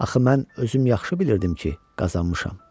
Axı mən özüm yaxşı bilirdim ki, qazanmışam.